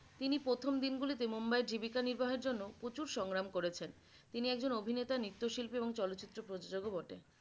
তিনি প্রথম দিনগুলিতে মুম্বাইয়ের জীবিকা নির্বাহের জন্য প্রচুর সংগ্রাম করেছেন তিনি একজন অভিনেতা নৃত্যশিল্পী এবং চলচ্চিত্র প্রযোজক ও বটে।